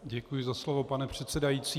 Děkuji za slovo, pane předsedající.